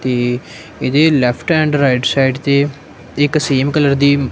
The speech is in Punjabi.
ਤੇ ਇਹਦੇ ਲੈਫਟ ਐਂਡ ਰਾਈਟ ਸਾਈਡ ਤੇ ਇੱਕ ਸੇਮ ਕਲਰ ਦੀ--